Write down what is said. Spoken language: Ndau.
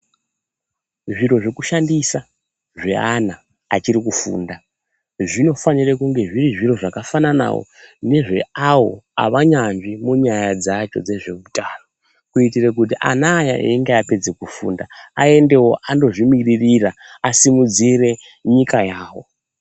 Zviro zvokushandisa zve ana achiri kufunda zvinofanira kunge zviri zviro zvakafananawo nezve awo avanyansvi munyaya dzacho dzezveutano, kuitira kuti ana aya einge apedze kufunda aendewo andozvimiririra asimudzire nyika yawo.